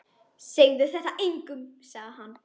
Segðu þetta engum sagði hann.